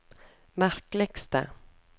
merkeligste